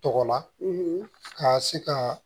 Tɔgɔ la ka se ka